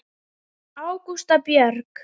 Ágústa Björg.